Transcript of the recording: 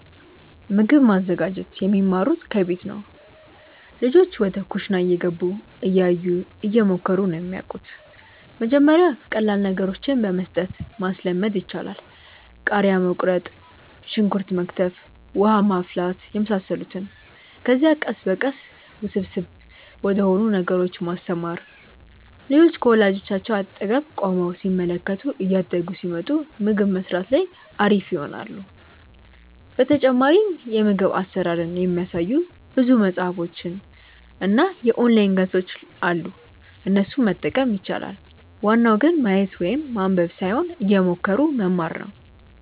ምግብ ማዘጋጀት የሚማሩት ከቤት ነው። ልጆች ወደ ኩሽና እየገቡ፣ እያዩ፣ እየሞከሩ ነው የሚያወቁት። መጀመሪያ ቀላል ነገሮችን በመስጠት ማስለመድ ይቻላል። ቃሪያ መቁረጥ፣ ሽንኩርት መክተፍ፣ ውሃ ማፍላት የመሳሰሉትን። ከዚያ ቀስ በቀስ ውስብስብ ወደሆኑ ነገሮች ማስተማር። ልጆች ከወላጆቻቸው አጠገብ ቆመው ሲመለከቱ እያደጉ ሲመጡ ምግብ መስራት ላይ አሪፍ ይሆናሉ። በተጨማሪም የምግብ አሰራርን የሚያሳዩ ብዙ መፅሀፎች እና የኦንላይን ገፆች አሉ እነሱንም መጠቀም ይቻላል። ዋናው ግን ማየት ወይም ማንበብ ሳይሆን እየሞከሩ መማር ነው